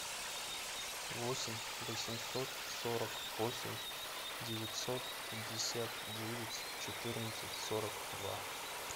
восемь восемьсот сорок восемь девятьсот пятьдесят девять четырнадцать сорок два